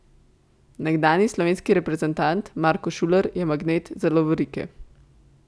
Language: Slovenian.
Nekdanji slovenski reprezentant Marko Šuler je magnet za lovorike.